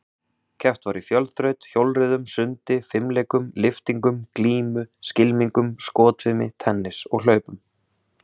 Keppt var í fjölþraut, hjólreiðum, sundi, fimleikum, lyftingum, glímu, skylmingum, skotfimi, tennis og hlaupum.